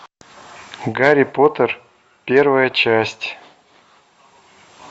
гарри поттер первая часть